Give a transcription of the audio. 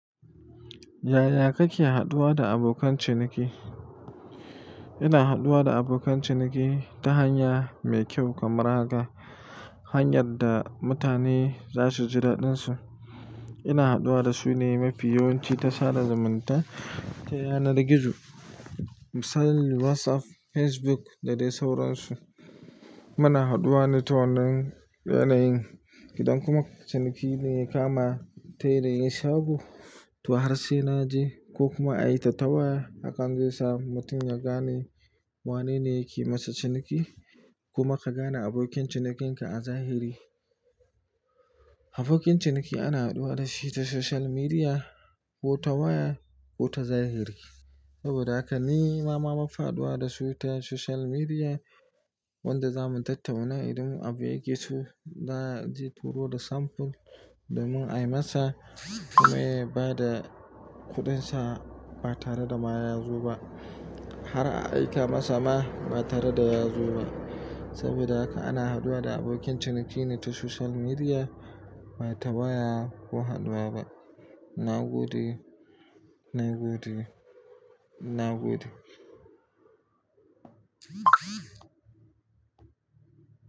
Yaya kake haduwa da abokan ciniki? Ina haduwa da abokan ciniki ta hanya mai kyau kamar haka, hanyar da mutane za su ji daɗinsu. Ina haɗuwa da su ne mafi yawanci ta sada zumunta ta yanar gizo, misali WhatsApp, Facebook da dai sauransu. Muna haduwa ne ta wannan yanayin. Idan kuma ciniki ne ya kama ta yanayin shago, ta har sai naje ko kuma ayi ta ways a kan gesa. Mutum ya gane wane ne yake masa ciniki kuma ka gane abokin cinikinka a zahiri. Abokin ciniki ana haduwa da shi ta social media ko ta waya ko ta zahiri. Saboda haka ni nama mafa haduwa da su ta social media wanda za mu tattauna idan abu ya keso. Na ji turo da samfuri da mun ai masa kuma ya ba da kuɗinsa ba tare da ma ya zo ba. Har a aika masa ma ba tare da ya zo ba. Saboda haka ana haduwa da abokin ciniki ne ta social media ba ta waya ko haduwa ba. Na gode, na gode, na gode.